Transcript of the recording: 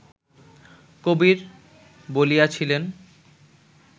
কবির বলিয়াছিলেন